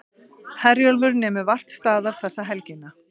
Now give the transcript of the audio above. Herjólfur nemur vart staðar þessa helgina